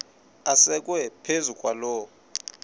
asekwe phezu kwaloo